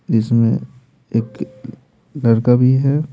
जिसमे एक लड़का भी है।